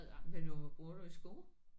Hvad du bruger du i sko?